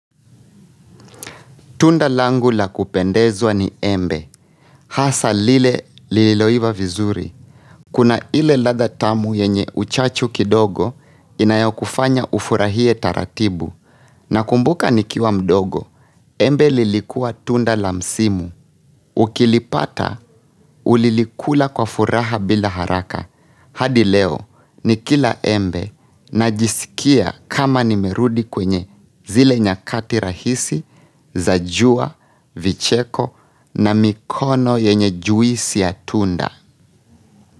Tunda langu la kupendezwa ni embe, hasa lile liloiva vizuri. Kuna ile ladha tamu yenye uchachu kidogo inayokufanya ufurahie taratibu na kumbuka nikiwa mdogo, embe lilikuwa tunda la msimu. Ukilipata ulilikula kwa furaha bila haraka. Hadi leo nikila embe najisikia kama nimerudi kwenye zile nyakati rahisi, za jua, vicheko na mikono yenye juisi ya tunda.